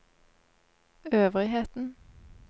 øvrigheten